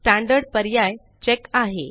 standard पर्याय check आहे